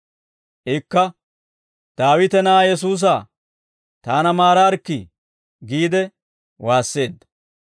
Ikka, «Daawite na'aa Yesuusaa, taana maaraarikkii» giide waasseedda.